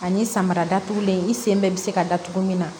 Ani samara datugulen i sen bɛ se ka datugu min na